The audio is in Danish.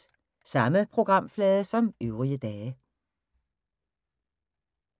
Samme programflade som øvrige dage